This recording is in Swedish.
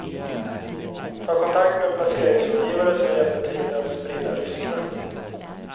Ta kontakt med en placeringsrådgivare som hjälper till med att sprida riskerna.